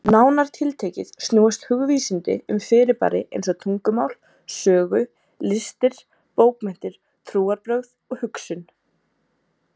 Nánar tiltekið snúast hugvísindi um fyrirbæri eins og tungumál, sögu, listir, bókmenntir, trúarbrögð og hugsun.